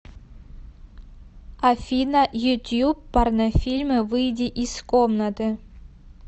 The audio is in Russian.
афина ютьюб порнофильмы выйди из комнаты